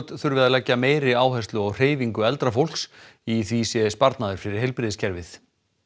þurfi að leggja meiri áherslu á hreyfingu eldra fólks í því sé fólginn sparnaður fyrir heilbrigðiskerfið